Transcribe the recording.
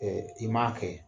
i man kɛ